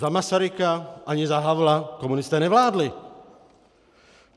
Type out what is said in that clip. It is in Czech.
Za Masaryka ani za Havla komunisté nevládli.